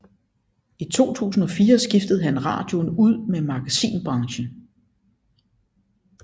I 2004 skiftede han radioen ud med magasinbranchen